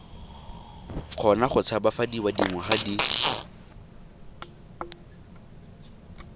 kgona go tshabafadiwa dingwaga di